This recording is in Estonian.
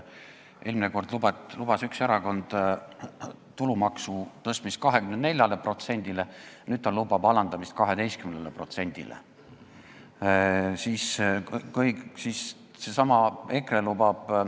Eelmine kord lubas üks erakond tõsta tulumaksu 24%-le, nüüd lubab ta selle alandada 12%-le.